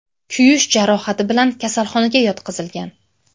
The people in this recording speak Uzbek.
kuyish jarohati bilan kasalxonaga yotqizilgan.